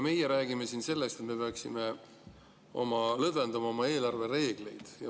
Meie räägime siin sellest, et me peaksime lõdvendama oma eelarvereegleid.